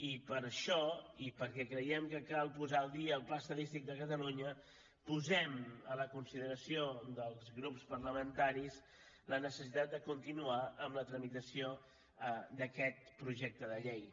i per això i perquè creiem que cal posar al dia el pla estadístic de catalunya posem a la consideració dels grups parlamentaris la necessitat de continuar amb la tramitació d’aquest projecte de llei